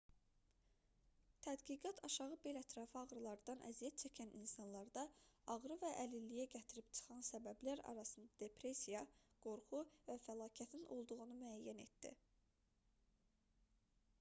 tədqiqat aşağı bel ətrafı ağrılardan əziyyət çəkən insanlarda ağrı və əlilliyə gətirib çıxaran səbəblər arasında depressiya qorxu və fəlakətin olduğunu müəyyən etdi